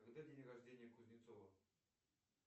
когда день рождения кузнецова